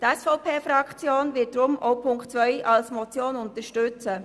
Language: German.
Die SVPFraktion wird deshalb die Motion unterstützen.